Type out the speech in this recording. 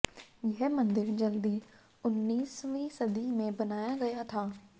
यह मंदिर जल्दी उन्नीसवीं सदी में बनाया गया था